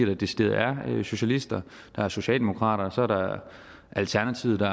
de decideret er socialister der er socialdemokrater og så er der alternativet